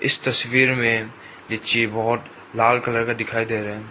इस तस्वीर में लीची बहुत लाल कलर का दिखाई दे रहा है।